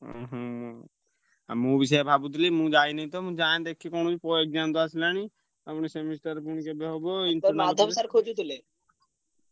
ଉଁହୁଁ ଆଉ ମୁଁ ବି ସେୟା ଭାବୁଥିଲି ମୁଁ ଯାଇନି ତ ମୁଁ ଯାଏଁ ଦେଖେ କଣ ହଉଛି ~ପ exam ତ ଆସିଲାଣି। ଆଉ ପୁଣି semester ପୁଣି କେବେ ହବ।